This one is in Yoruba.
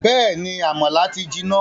Bẹ́ẹ̀ni, àmàlà ti jiná